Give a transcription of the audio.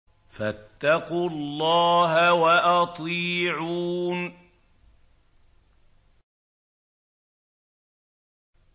فَاتَّقُوا اللَّهَ وَأَطِيعُونِ